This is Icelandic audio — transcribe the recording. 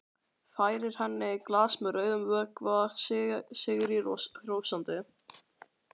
Færir henni glas með rauðum vökva sigri hrósandi.